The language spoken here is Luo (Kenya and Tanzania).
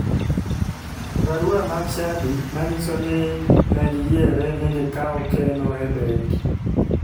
Barua mar chadi manyiso ni ne giyiere ni giyaw keno e bengi.